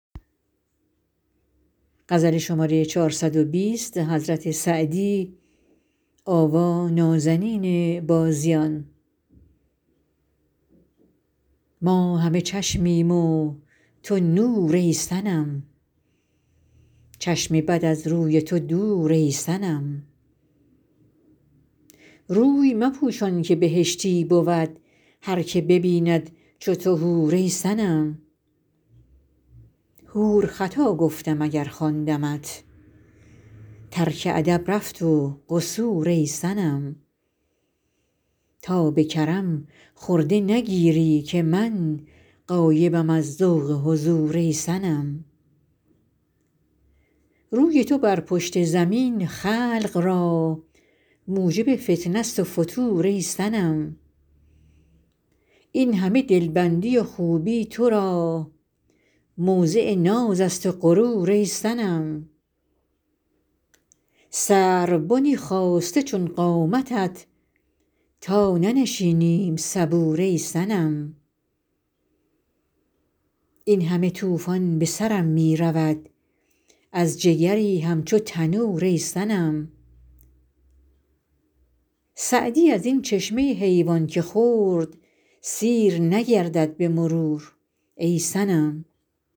ما همه چشمیم و تو نور ای صنم چشم بد از روی تو دور ای صنم روی مپوشان که بهشتی بود هر که ببیند چو تو حور ای صنم حور خطا گفتم اگر خواندمت ترک ادب رفت و قصور ای صنم تا به کرم خرده نگیری که من غایبم از ذوق حضور ای صنم روی تو بر پشت زمین خلق را موجب فتنه ست و فتور ای صنم این همه دلبندی و خوبی تو را موضع ناز است و غرور ای صنم سروبنی خاسته چون قامتت تا ننشینیم صبور ای صنم این همه طوفان به سرم می رود از جگری همچو تنور ای صنم سعدی از این چشمه حیوان که خورد سیر نگردد به مرور ای صنم